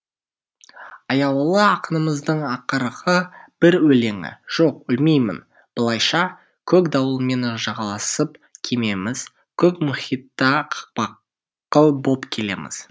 аяулы ақынымыздың ақырғы бір өлеңі жоқ өлмеймін былайша көк дауылмен жағаласып кемеміз көк мұхитта қақпақыл боп келеміз